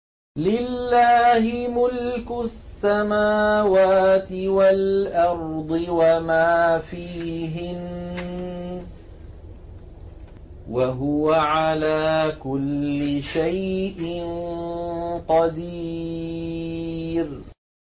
لِلَّهِ مُلْكُ السَّمَاوَاتِ وَالْأَرْضِ وَمَا فِيهِنَّ ۚ وَهُوَ عَلَىٰ كُلِّ شَيْءٍ قَدِيرٌ